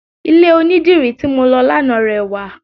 Ilẹ̀ onidírì tí mọ lọ lánàá rẹwà.